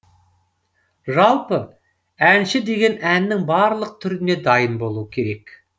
жалпы әнші деген әннің барлық түріне дайын болуы керек